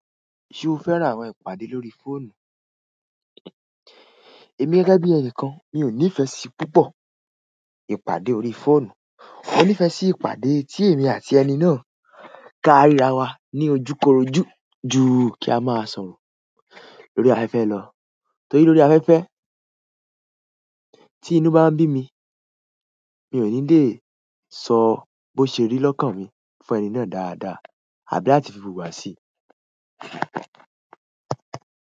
Ṣé o fẹ́ràn àwọn ìpàdé lórí fóònù? Èmi gẹ́gẹ́ bí ẹnìkan, mi ò nífẹsí púpọ̀ ìpàdé órí fóònù. Mo nífẹ́ sí ìpàdé tí èmi àti ẹni náà ka ríra wa ní ojúkorojú ju kí a máa sọ̀rọ̀ lórí afẹ́fẹ́ lọ. Torí lórí afẹ́fẹ́, tí inú bá ń bí mi, mi ò ní lè sọ bó ṣe rí lọ́kàn mi fún ẹni náà dáadáa àbí áti fi wùwá sí.